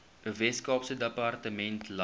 weskaapse departement landbou